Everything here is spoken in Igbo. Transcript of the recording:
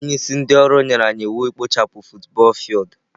Onye isi ndị ọrụ nyere anyị iwu ikpochapụ futubọọl fildu.